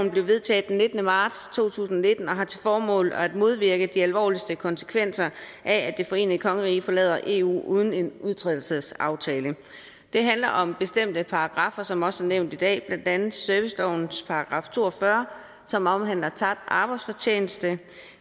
blev vedtaget den nittende marts to tusind og nitten og har til formål at modvirke de alvorligste konsekvenser af at det forenede kongerige forlader eu uden en udtrædelsesaftale det handler om bestemte paragraffer som også er nævnt i dag blandt andet servicelovens § to og fyrre som omhandler tabt arbejdsfortjeneste